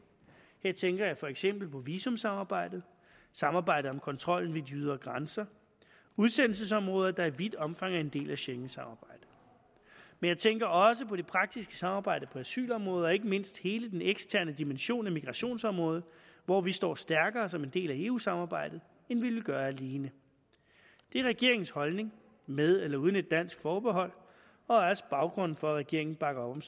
her tænker jeg for eksempel på visumsamarbejdet samarbejdet om kontrollen ved de ydre grænser udsendelsesområder der i vidt omfang er en del af schengensamarbejdet men jeg tænker også på det praktiske samarbejde på asylområdet og ikke mindst hele den eksterne dimension af migrationsområdet hvor vi står stærkere som en del af eu samarbejdet end vi ville gøre alene det er regeringens holdning med eller uden et dansk forbehold og er også baggrunden for at regeringen bakker op om